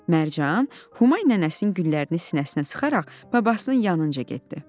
Mərcan Humay nənəsinin güllərini sinəsinə sıxaraq babasının yanınca getdi.